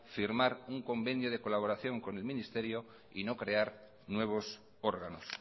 firmar un convenio de colaboración con el ministerio y no crear nuevos órganos